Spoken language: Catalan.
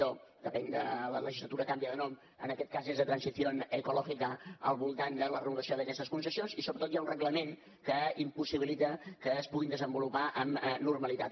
depèn de la legislatura canvia de nom en aquest cas és de transición ecológica al voltant de la regulació d’aquestes concessions i sobretot hi ha un reglament que impossibilita que es puguin desenvolupar amb normalitat